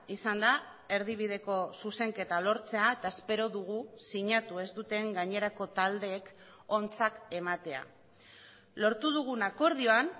izan da erdibideko zuzenketa lortzea eta espero dugu sinatu ez duten gainerako taldeek ontzat ematea lortu dugun akordioan